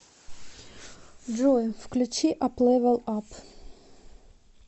джой включи ап левел ап